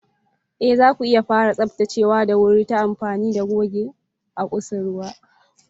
Ee, zaku iya fara tsaftacewa da wuri-wuri ta amfani da guga a kusurwa.